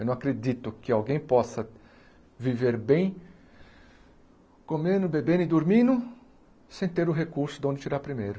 Eu não acredito que alguém possa viver bem comendo, bebendo e dormindo sem ter o recurso de onde tirar primeiro.